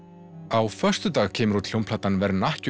á föstudag kemur út hljómplatan